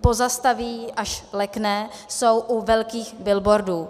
pozastaví, až lekne, jsou u velkých billboardů.